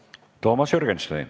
Toomas Jürgenstein.